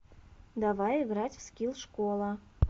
давай играть в скилл школа